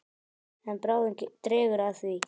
En bráðum dregur að því.